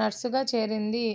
నర్స్గా చేరింది